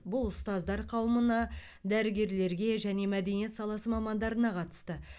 бұл ұстаздар қауымына дәрігерлерге және мәдениет саласы мамандарына қатысты